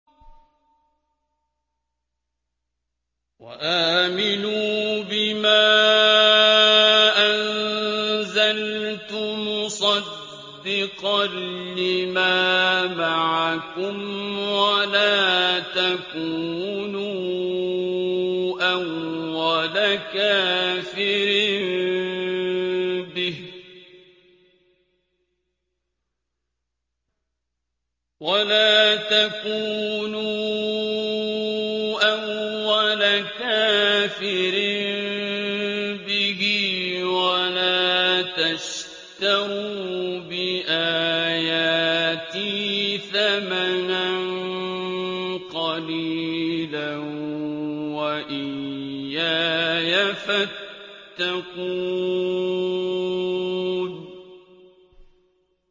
وَآمِنُوا بِمَا أَنزَلْتُ مُصَدِّقًا لِّمَا مَعَكُمْ وَلَا تَكُونُوا أَوَّلَ كَافِرٍ بِهِ ۖ وَلَا تَشْتَرُوا بِآيَاتِي ثَمَنًا قَلِيلًا وَإِيَّايَ فَاتَّقُونِ